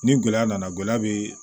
Ni gɛlɛya nana gan bɛ